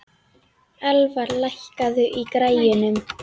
Elfar, lækkaðu í græjunum.